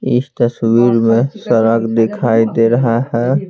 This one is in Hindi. इस तस्वीर में सड़क दिखाई दे रहा है।